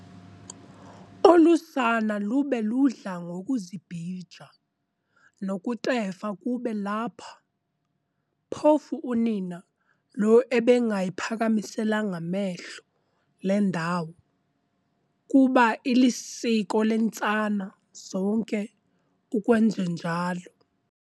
Olu sana lube ludla ngokuzibhija, nokutefa kube lapha, phofu unina lo ebengayiphakamiselanga mehlo le ndawo, kuba ilisiko leentsana zonke ukwenjenjalo.